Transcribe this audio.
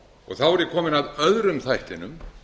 þá er ég kominn að öðrum þættinum